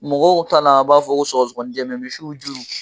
Mɔgɔw taala a b'a fɔ surasiw kɔn jɛnbɛ misiw juru